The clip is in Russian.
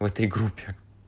в этой группе